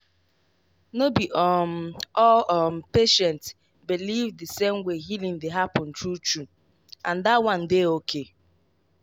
no be um all um patient believe the same way healing dey happen true true—and that one dey okay.